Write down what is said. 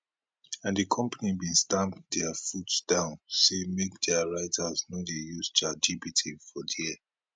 and di company bin stamp dia foot down say make dia writers no dey use chat gpt for dia